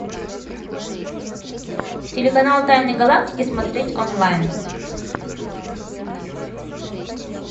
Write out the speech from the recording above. телеканал тайны галактики смотреть онлайн